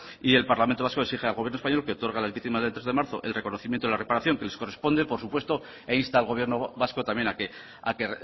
y el parlamento vasco exige al gobierno español que otorgue a las víctimas del tres de marzo el reconocimiento y la reparación que les corresponde por supuesto e insta al gobierno vasco también a que